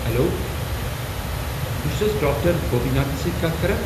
Hello, بہٕ چھسہٕ حض ڈاکٹر گوپی ناتھس سۭتۍ کتھ کران؟